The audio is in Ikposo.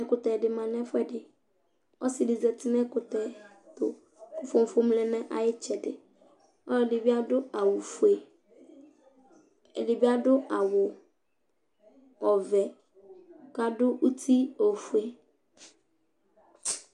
Ɛkutɛ ɖi ma ŋu ɛfʋɛɖi Ɔsiɖi zɛti ŋu ɛkʋtɛ tu Fofom lɛ ŋu ayʋ itsɛɖi Ɔlʋɛɖì bi aɖu awu fʋe Ɛdí bi aɖu ɔvɛ kʋ aɖu uti ɔfʋe